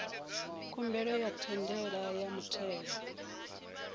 khumbelo ya ndaela ya muthelo